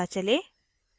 दन्त चिकित्सक के पास जाएँ